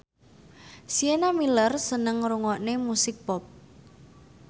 Sienna Miller seneng ngrungokne musik pop